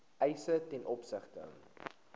eise ten opsigte